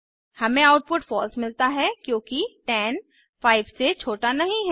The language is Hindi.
हमें आउटपुट फलसे मिलता है क्योंकि 10 5 से छोटा नहीं है